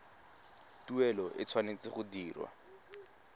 tuelo e tshwanetse go dirwa